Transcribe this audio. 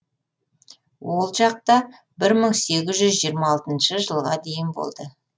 ол жақта бір мың сегіз жүз жиырма алтыншы жылға дейін болды